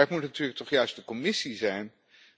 Maar het moet natuurlijk toch juist de Commissie zijn